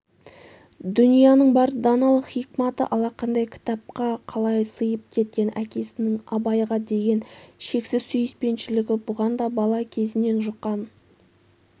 дүнияның бар даналық-хикматы алақандай кітапқа қалай сыйып кеткен әкеснің абайға деген шексіз сүйіспеншілігі бұған да бала кезінен жұққан